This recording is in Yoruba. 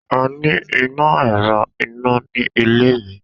A ni ina ẹrọ ina ni ile mi.